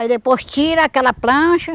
Aí depois tira aquela plancha.